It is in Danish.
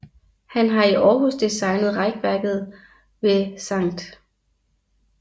Han har i Århus designet rækværket ved Skt